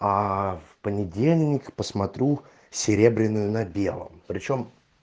а в понедельник посмотрю серебряную на белом причём